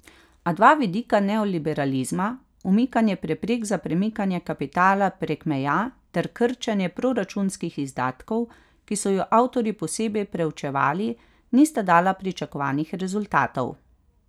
A dva vidika neoliberalizma, umikanje preprek za premikanje kapitala prek meja ter krčenje proračunskih izdatkov, ki so ju avtorji posebej preučevali, nista dala pričakovanih rezultatov.